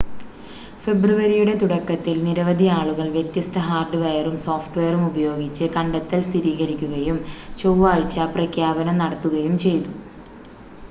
ഫെബ്രുവരിയുടെ തുടക്കത്തിൽ നിരവധി ആളുകൾ വ്യത്യസ്ത ഹാർഡ്‌വെയറും സോഫ്റ്റ്‌വെയറും ഉപയോഗിച്ച് കണ്ടെത്തൽ സ്ഥിരീകരിക്കുകയും ചൊവ്വാഴ്ച പ്രഖ്യാപനം നടത്തുകയും ചെയ്തു